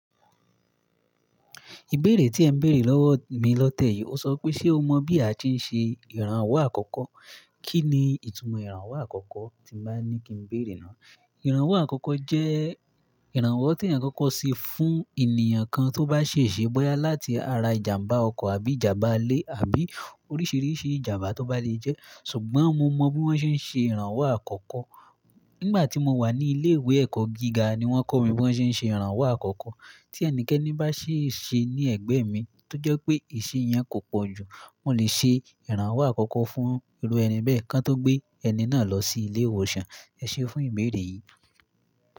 Ìbéèrè tí ẹ bèrè lọ́wọ́ mi lọ́tẹ́ yìí, ó sọ pé ṣe o mọ̀ bí a ṣe ń ṣe ìrànwọ́ àkọ́kọ́? Kí ni ìtumọ̀ ìrànwọ́ àkọ́kọ́ tí bá ní kí n bèèrè náà? Ìrànwọ́ àkọ́kọ́ jẹ́ ìrànwọ́ tí ẹ̀yin kọ́kọ́ ṣe fún ènìyàn kan tó bá ṣèṣe bọ́yá láti ara ìjàmbá ọkọ̀ àbí ìjàmbá ilé àbí oríṣìíríṣìí ìjàmbá tó bá le jẹ́. Ṣùgbọ́n mo mọ bí wón ṣe ń ṣe ìrànwọ́ àkọ́kọ́. Nígbà tí mo wà ní ilé ìwé ẹ̀kọ́ gíga ni wón kọ́ mi bí wón ṣe ń ṣe ìrànwọ́ àkọ́kọ́. Tí ẹnikẹ́ni bá ṣe ṣe ní ẹ̀gbẹ́ mi tó jẹ́ pé ìṣe yẹn kò pọ̀ jù, mo lè ṣe ìrànwọ́ àkọ́kọ́ fún irú ẹni bẹ́ẹ̀ kan tó gbé ẹni náà lọ sí ilé ìwòsàn. Ẹ ṣé fún ìbéèrè yìí.